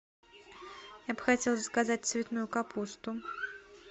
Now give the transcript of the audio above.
я бы хотела заказать цветную капусту